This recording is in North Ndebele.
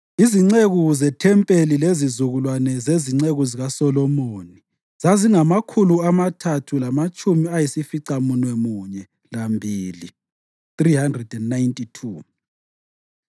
Izinceku zethempelini lezizukulwane zezinceku zikaSolomoni zazingamakhulu amathathu lamatshumi ayisificamunwemunye lambili (392).